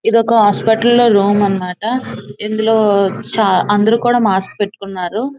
ఇది ఒక హాస్పిటల్ లో రూమ్ అన్న మాట ఇందులో అందరూ కూడా మాస్క్ పెట్టుకొన్నారు.